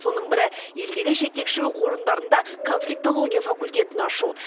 соның бірі елдегі жетекші оқу орындарында конфликтология факультетін ашу